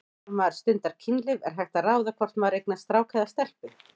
Þegar maður stundar kynlíf er hægt að ráða hvort maður eignast strák eða stelpu?